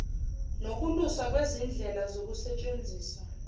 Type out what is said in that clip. nokuluswa kwezindlela zokusetshenziswa